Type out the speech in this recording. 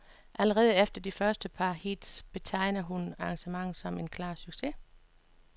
Allerede efter de første par heats betegner hun arrangementet som en klar succes.